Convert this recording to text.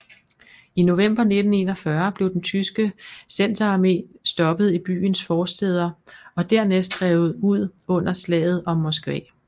I november 1941 blev den tyske Centerarme stoppet i byens forstæder og dernæst drevet ud under Slaget om Moskva